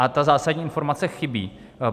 A ta zásadní informace chybí.